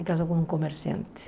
E casou com um comerciante.